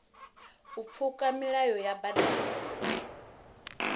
u pfuka milayo ya badani